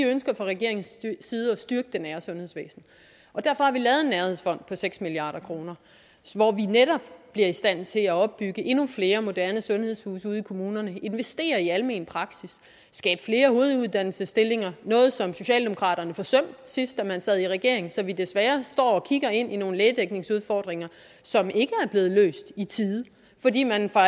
ønsker fra regeringens side at styrke det nære sundhedsvæsen derfor har vi lavet en nærhedsfond på seks milliard kr hvor vi netop bliver i stand til at opbygge endnu flere moderne sundhedshuse ude i kommunerne investere i almen praksis skabe flere hoveduddannelsesstillinger noget som socialdemokratiet forsømte sidst da man sad i regering så vi desværre står og kigger ind i nogle lægedækningsudfordringer som ikke er blevet løst i tide fordi man fra